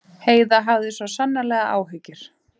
Heiða hafði svo sannarlega áhyggjur af því að pabbi færi á síld.